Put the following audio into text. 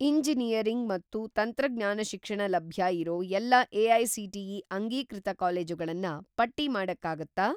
Engineering ಮತ್ತು ತಂತ್ರಜ್ಞಾನ ಶಿಕ್ಷಣ ಲಭ್ಯ ಇರೋ ಎಲ್ಲಾ ಎ.ಐ.ಸಿ.ಟಿ.ಇ. ಅಂಗೀಕೃತ ಕಾಲೇಜುಗಳನ್ನ ಪಟ್ಟಿ ಮಾಡಕ್ಕಾಗತ್ತಾ?